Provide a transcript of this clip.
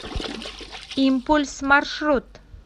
импульс маршрут